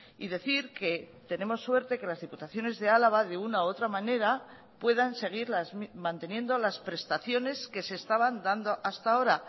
y decir que tenemos suerte que las diputaciones de álava de una u otra manera puedan seguir manteniendo las prestaciones que se estaban dando hasta ahora